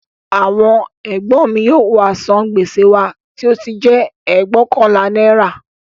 Àwọn ègbọ́n mi yóò wá san gbèsè wa tí ó jẹ́ ẹgbóokànlá náírà